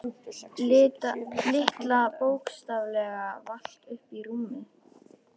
Lilla bókstaflega valt upp í rúmið.